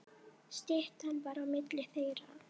Styttan var á milli þeirra.